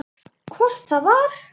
Hvort það var!